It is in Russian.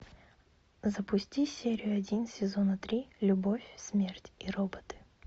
запусти серию один сезона три любовь смерть и роботы